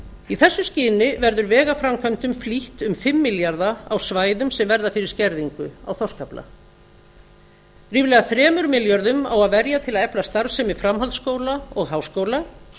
í þessu skyni verður vegaframkvæmdum flýtt um fimm milljarða á svæðum sem verða fyrir skerðingu á þorskafla ríflega þremur milljörðum á að verja til að efla starfsemi framhaldsskóla og háskóla